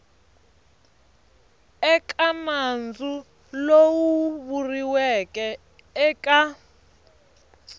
eka nandzu lowu vuriweke eka